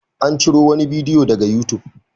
An ciro wani bidiyo daga youtube.